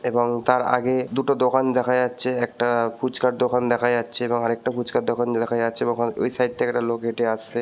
এবং তার আগে দুটো দোকান দেখা যাচ্ছে একটা ফুচকার দোকান দেখা যাচ্চে এবং আর একটা ফুচকার দোকান দেখা যাচ্চে এবং অ ওই সাইড থেকে একটা লোক হেঁটে আসছে।